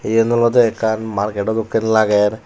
eyan olode ekan markedo dokke lager.